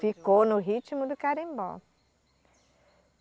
Ficou no ritmo do carimbó.